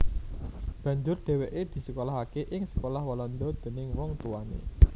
Banjur dhèwèké disekolahaké ing sekolah Walanda déning wong tuwané